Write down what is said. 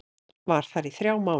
Var þar í þrjá mánuði.